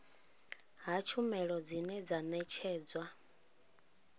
ha tshumelo dzine dza ṋetshedzwa